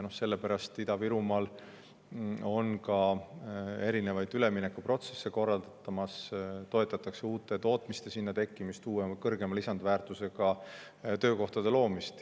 Sellepärast Ida-Virumaal korraldataksegi erinevaid üleminekuprotsesse: toetatakse uute tootmiste sinna tekkimist, kõrgema lisandväärtusega töökohtade loomist.